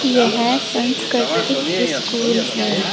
यह संस्कृतिक स्कूल है।